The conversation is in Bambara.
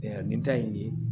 nin ta ye nin ye